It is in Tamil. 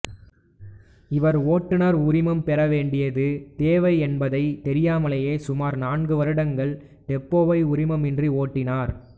இவர் ஓட்டுநர் உரிமம் பெற வேண்டியது தேவை என்பதைத் தெரியாமலேயே சுமார் நான்கு வருடங்கள் டெம்போவை உரிமம் இன்றி ஓட்டினார்